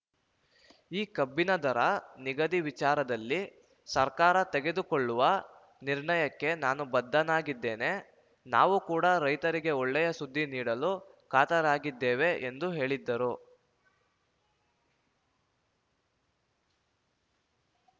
ಈ ಕಬ್ಬಿನ ದರ ನಿಗದಿ ವಿಚಾರದಲ್ಲಿ ಸರ್ಕಾರ ತೆಗೆದುಕೊಳ್ಳುವ ನಿರ್ಣಯಕ್ಕೆ ನಾನು ಬದ್ಧನಾಗಿದ್ದೇನೆ ನಾವು ಕೂಡ ರೈತರಿಗೆ ಒಳ್ಳೆಯ ಸುದ್ದಿ ನೀಡಲು ಕಾತರರಾಗಿದ್ದೇವೆ ಎಂದು ಹೇಳಿದರು